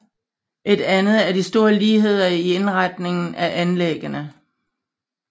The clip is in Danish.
Et andet er de store ligheder i indretningen af anlæggene